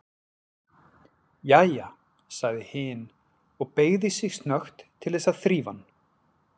Jæja, sagði hin og beygði sig snöggt til þess að þrífa hann.